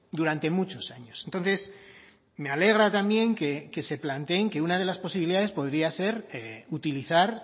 durante muchos años entonces me alegra también que se planteen que una de las posibilidades podría ser utilizar